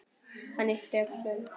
Hann ypptir öxlum.